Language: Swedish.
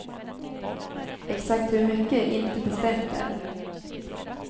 Exakt hur mycket är inte bestämt än.